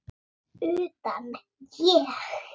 Utan, ég?